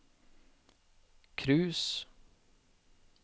cruise